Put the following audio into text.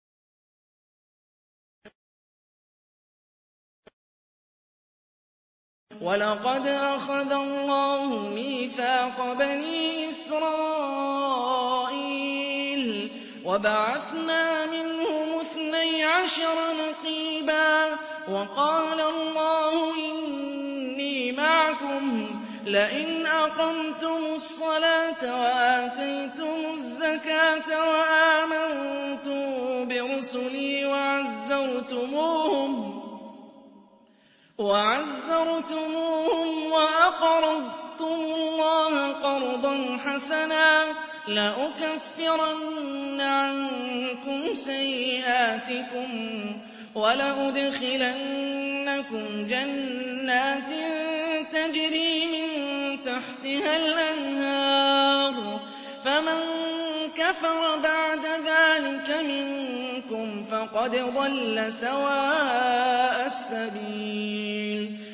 ۞ وَلَقَدْ أَخَذَ اللَّهُ مِيثَاقَ بَنِي إِسْرَائِيلَ وَبَعَثْنَا مِنْهُمُ اثْنَيْ عَشَرَ نَقِيبًا ۖ وَقَالَ اللَّهُ إِنِّي مَعَكُمْ ۖ لَئِنْ أَقَمْتُمُ الصَّلَاةَ وَآتَيْتُمُ الزَّكَاةَ وَآمَنتُم بِرُسُلِي وَعَزَّرْتُمُوهُمْ وَأَقْرَضْتُمُ اللَّهَ قَرْضًا حَسَنًا لَّأُكَفِّرَنَّ عَنكُمْ سَيِّئَاتِكُمْ وَلَأُدْخِلَنَّكُمْ جَنَّاتٍ تَجْرِي مِن تَحْتِهَا الْأَنْهَارُ ۚ فَمَن كَفَرَ بَعْدَ ذَٰلِكَ مِنكُمْ فَقَدْ ضَلَّ سَوَاءَ السَّبِيلِ